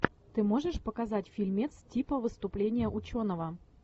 ты можешь показать фильмец типа выступления ученого